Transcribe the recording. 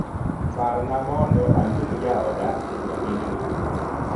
Parna mondo aluong jaoda Jumapindni